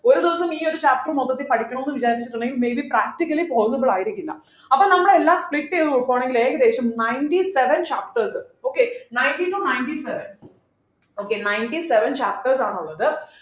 ഒരു ദിവസം ഈ ഒരു chapter മൊത്തത്തിൽ പഠിക്കാണോന്ന് വിചാരിച്ചിട്ടുണ്ടെങ്കിൽ may be practically possible ആയിരിക്കില്ല അപ്പൊ നമ്മൾ എല്ലാം split ചെയ്തു നോക്കുവാണെങ്കിൽ ഏകദേശം ninety seven chapters okay ninety to ninety seven okay ninety seven chapters ആണുള്ളത്